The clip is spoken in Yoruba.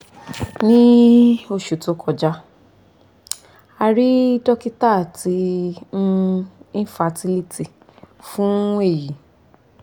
ni oṣu to kọja a rii dokita ti um infertility fun eyi